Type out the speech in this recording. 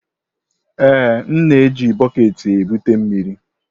Ee, m na-eji bọket ebute mmiri.